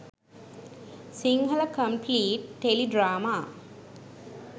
sinhala compleet tele drama